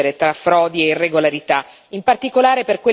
Poi bisogna distinguere tra frodi e irregolarità.